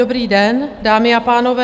Dobrý den, dámy a pánové.